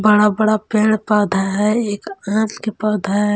बड़ा बड़ा पेड़ पौधा है एक के पौधा है।